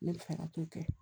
Ne bɛ fɛ ka t'o kɛ